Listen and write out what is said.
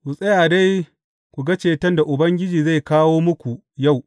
Ku tsaya dai ku ga ceton da Ubangiji zai kawo muku yau.